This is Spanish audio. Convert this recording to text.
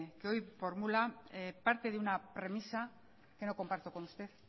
que hoy formula parte de una premisa que no comparto con usted